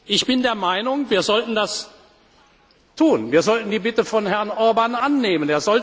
Ich bin der Meinung, wir sollten das tun. Wir sollten die Bitte von Herrn Orbán annehmen.